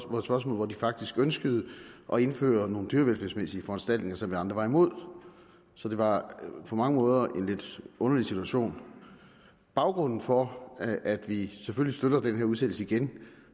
på et spørgsmål hvor de faktisk ønskede at indføre nogle dyrevelfærdsmæssige foranstaltninger som vi andre var imod så det var på mange måder en lidt underlig situation baggrunden for at vi selvfølgelig støtter den her udsættelse igen